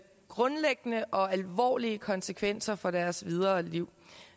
grundlæggende og alvorlige konsekvenser for deres videre liv